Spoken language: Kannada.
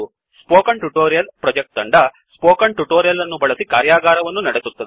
ಸ್ಪೋಕನ್ ಟ್ಯುಟೋರಿಯಲ್ ಪ್ರೊಜೆಕ್ಟ್ ತಂಡ ಸ್ಪೋಕನ್ ಟ್ಯುಟೋರಿಯಲ್ ಅನ್ನು ಬಳಸಿ ಕಾರ್ಯಾಗಾರವನ್ನೂ ನಡೆಸುತ್ತದೆ